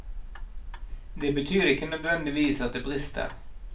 Det betyr ikke nødvendigvis at det brister.